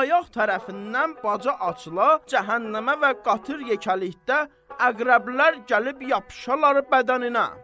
Ayaq tərəfindən baca açıla cəhənnəmə və qatır yekəlikdə əqrəblər gəlib yapışalar bədəninə.